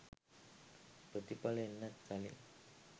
ප්‍රතිඵල එන්නත් කලින්